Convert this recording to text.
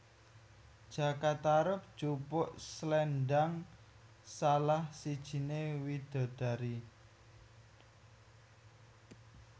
Jaka Tarub jupuk sléndang salah sijiné widadari